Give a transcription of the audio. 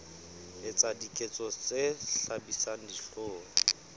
etsa diketso tse hlabisang dihlong